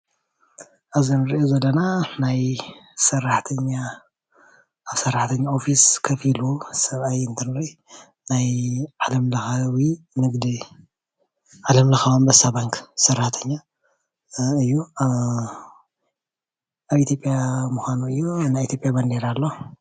ኣብዚ እንሪኦ ዘለና ናይ ሰራሕተኛ ኣብ ሰራሕተኝ ኦፊስ ኾፍ ኢሉ ሰብኣይ እንትንርኢ ምስሊ ኾይኑ ናይ ኣንበሳ ባንኪ ባንዴራ እዩ። ኣብ ኢትዩጵያን ምዃኑ እዩ።